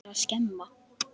Hann er að skemma.